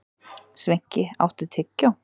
Sveinki, áttu tyggjó?